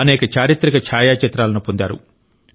అనేక చారిత్రక ఛాయాచిత్రాలను పొందారు